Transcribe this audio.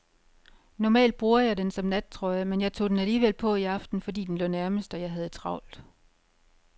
Normalt bruger jeg den som nattrøje, men jeg tog den alligevel på i aften, fordi den lå nærmest og jeg havde travlt.